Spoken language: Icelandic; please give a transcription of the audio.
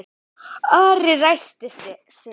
Ari ræskti sig.